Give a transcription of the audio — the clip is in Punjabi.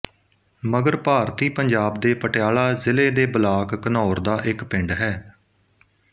ਮਗਰ ਭਾਰਤੀ ਪੰਜਾਬ ਦੇ ਪਟਿਆਲਾ ਜ਼ਿਲ੍ਹੇ ਦੇ ਬਲਾਕ ਘਨੌਰ ਦਾ ਇੱਕ ਪਿੰਡ ਹੈ